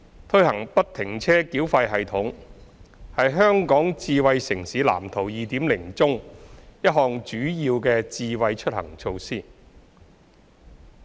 推行不停車繳費系統是《香港智慧城市藍圖 2.0》中一項主要的"智慧出行"措施。